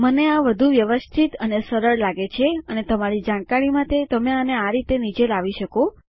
મને આ વધુ વ્યવસ્થિત અને સરળ લાગે છે અને તમારી જાણકારી માટે તમે આને આ રીતે નીચે લાવી શકો